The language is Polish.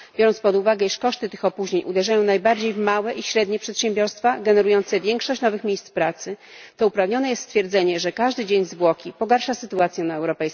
Biorąc pod uwagę, iż koszty tych opóźnień uderzają najbardziej w małe i średnie przedsiębiorstwa generujące większość nowych miejsc pracy, to uprawnione jest stwierdzenie, że każdy dzień zwłoki pogarsza sytuację na europejskim rynku pracy. Dziękuję.